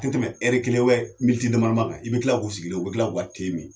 Tɛ tɛmɛ kelen damadama kan i bɛ tila k'u sigilen ye u bɛ tila k'u ka te min